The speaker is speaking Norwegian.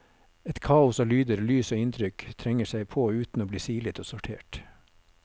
Et kaos av lyder, lys og inntrykk trenger seg på uten å bli silet og sortert.